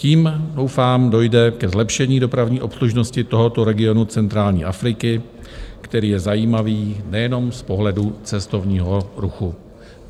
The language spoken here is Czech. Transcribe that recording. Tím doufám dojde ke zlepšení dopravní obslužnosti tohoto regionu centrální Afriky, který je zajímavý nejen z pohledu cestovního ruchu.